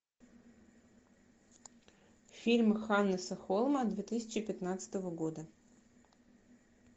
фильм ханнеса холма две тысячи пятнадцатого года